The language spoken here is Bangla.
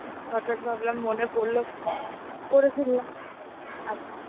হঠাৎ ভাবলাম মনে পড়লো করে ফেললাম আর কি.